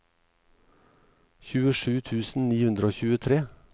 tjuesju tusen ni hundre og tjuetre